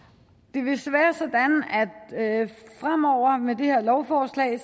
det vil fremover være sådan med det her lovforslag at